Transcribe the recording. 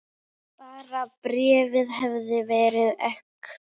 Bara bréfið hefði verið ekta!